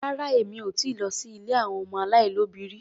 Rárá Èmi ò ti lọ sí ilé àwọn ọmọ aláìlóbìí rí.